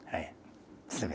Aí, você vê.